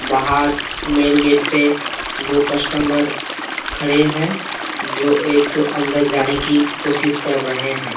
बहार main gate से दो कस्टमबर खड़े हैं जो एक अंदर जाने की कोशिश कर रहे हैं।